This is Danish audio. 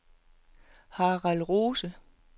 Harald Rose